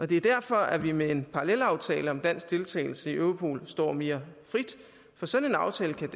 det er derfor at vi med en parallelaftale om dansk deltagelse i europol står mere frit for sådan en aftale kan